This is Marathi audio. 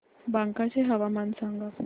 बांका चे हवामान सांगा